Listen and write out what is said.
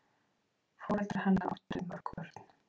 Foreldrar hennar áttu mörg börn.